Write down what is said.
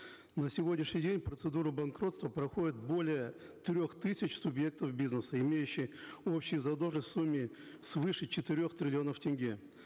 на сегодняшний день процедуру банкротства проходят более трех тысяч субъектов бизнеса имеющие общую задолженность в сумме свыше четырех триллионов тенге